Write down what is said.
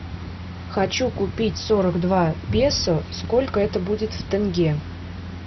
хочу купить сорок два песо сколько это будет в тенге